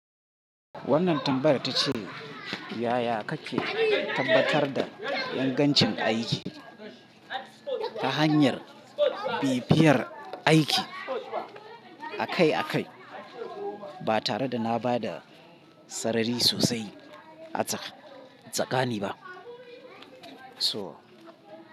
Wannan tambayar ta ce yaya kake tabbatar da ingancin aiki ta hanyar bibiyar aiki akai-akai ba tare da na ba da sarari sosai a tsakani ba? So.